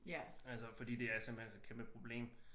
Altså fordi det er simpelthen så kæmpe problem